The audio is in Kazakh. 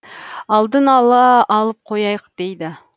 алдын ала алып қояйық дейді